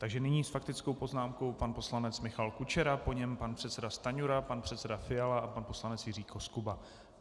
Takže nyní s faktickou poznámkou pan poslanec Michal Kučera, po něm pan předseda Stanjura, pan předseda Fiala a pan poslanec Jiří Koskuba.